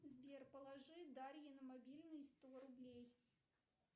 сбер положи дарье на мобильный сто рублей